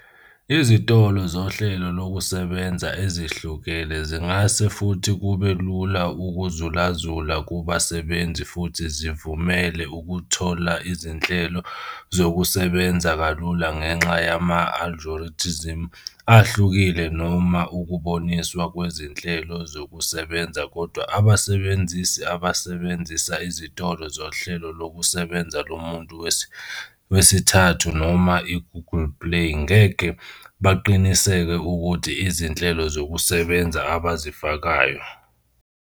Izitolo zohlelo lokusebenza ezihlukile zingase futhi kube lula ukuzulazula kubasebenzisi futhi zivumele ukuthola izinhlelo zokusebenza kalula ngenxa yama-algorithms ahlukile noma ukuboniswa kwezinhlelo zokusebenza kodwa abasebenzisi abasebenzisa izitolo zohlelo lokusebenza lomuntu wesithathu noma i-Google Play ngeke baqiniseke ukuthi izinhlelo zokusebenza abazifakayo.